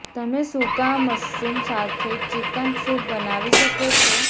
તમે સૂકા મશરૂમ્સ સાથે ચિકન સૂપ બનાવી શકો છો